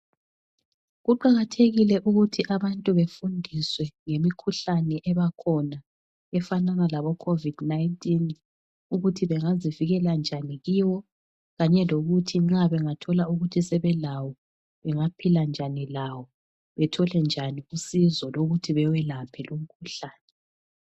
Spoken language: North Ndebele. Kuqakathekile ukuthi abantu bafundiswe ngemikhuhlane ebakhona efanana laboCovid 19 ukuthi bengazivikela njani kiyo. Kanye lokuthi bengathola ukuthi sebelayo bengaphila njani lawo bethole njani usizo lokuthi bewelaphe lumkhuhlane.